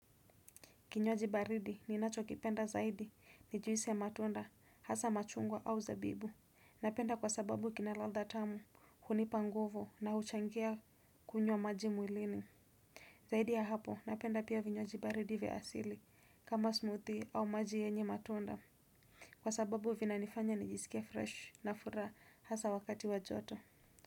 Kinywaji baridi ninachokipenda zaidi ni juisi ya matunda hasa machungwa au zabibu. Napenda kwa sababu kina ladha tamu. Hunipa nguvo na huchangia kunywa maji mwilini. Zaidi ya hapo napenda pia vinywaji baridi vya asili kama smoothie au maji yenye matunda. Kwa sababu vinanifanya nijisikie fresh na furaha hasa wakati wa joto.